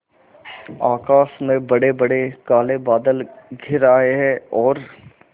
आकाश में बड़ेबड़े काले बादल घिर आए हैं और